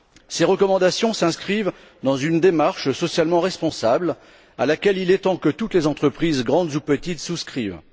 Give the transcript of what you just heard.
Ces recommandations s'inscrivent dans une démarche socialement responsable à laquelle il est temps que toutes les entreprises, grandes ou petites, souscrivent.